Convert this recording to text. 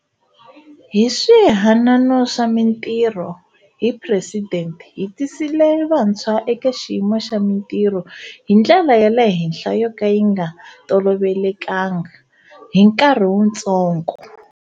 Hi Swihanano swa Mitirho hi Presidente hi tisile va ntshwa eka xiyimo xa mitirho hi ndlela ya le henhla yo ka yi nga tolovelekanga hi nkarhi wutsongo.